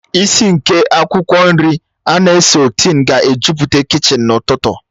Ìsì nke akwụkwọ nri ana a sọtén ga-ejupụta kichin n'ụtụtụ